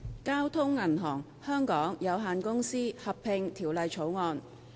《交通銀行有限公司條例草案》。